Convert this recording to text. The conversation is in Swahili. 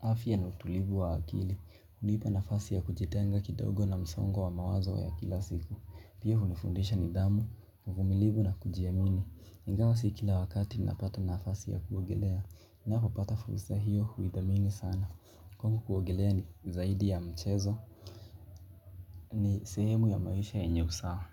afya na utulivu libu wa akili. Unipa nafasi ya kujetenga kidogo na msongo wa mawazo wa ya kila siku pia unifundisha nidhamu uvumilivu na kujiamini ingawa si kila wakati napata nafasi ya kuogelea. Napopapata fursa hiyo huidhamini sana. Kwangu kuogelea ni zaidi ya mchezo. Ni sehemu ya maisha yenye usawa.